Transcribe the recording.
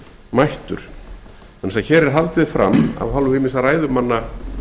mættur vegna þess að hér er haldið fram af hálfu ýmissa ræðumanna